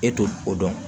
E t'o o dɔn